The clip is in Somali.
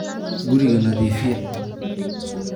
Guriga nadiifiyaa.